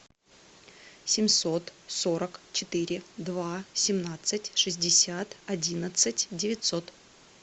семьсот сорок четыре два семнадцать шестьдесят одиннадцать девятьсот